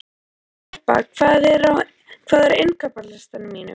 Harpa, hvað er á innkaupalistanum mínum?